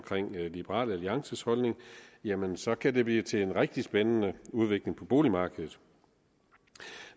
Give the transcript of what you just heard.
liberal alliances holdning jamen så kan det blive til en rigtig spændende udvikling på boligmarkedet